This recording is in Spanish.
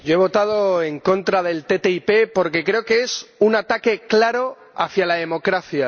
Yo he votado en contra de la ATCI, porque creo que es un ataque claro a la democracia.